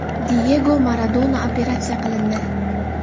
Diyego Maradona operatsiya qilindi.